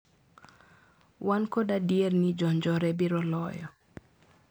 Wan kod adier ni jo njore biro loyo.